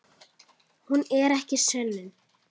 Hún er ekki sönnun.